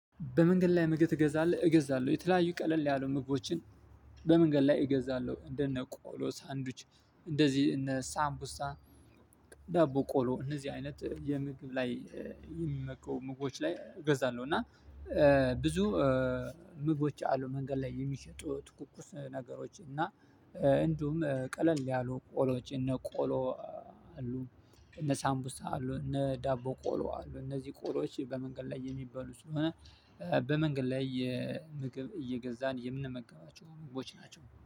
በመንገድ ላይ ምግብ ትገዛለህ? እገዛለሁ የተለያዩ ቀለል ያሉ ምግቦችን በመንገድ ላይ እገዛለሁ እንደነ ቆሎ ሳንዱች እንደዚህ እነ ሳምቡሳ ዳቦ ቆሎ እነዚህ አይነት የምግብ ላይ የሚመገቡ ምግቦች ላይ እገዛለሁ እና ብዙ ምግቦች አሉ መንገድ ላይ የሚሸጡ ትኩኩስ ነገሮች እና እንዲሁም ቀለል ያሉ ቆሎች እነ ቆሎ አሉ እነ ሳምቡሳ አሉ እነ ዳቦ ቆሎ አሉ እነዚህ ቆሎዎች በመንገድ ላይ የሚበሉ ስለሆነ በመንገድ ላይ የምግብ እየገዛን የምንመገባቸው ምግቦች ናቸው